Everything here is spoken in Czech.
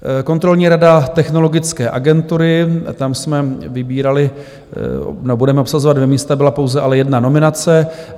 Kontrolní rada Technologické agentury, tam jsme vybírali nebo budeme obsazovat dvě místa, byla ale pouze jedna nominace.